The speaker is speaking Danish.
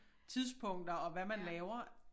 Tidspunkter og hvad man laver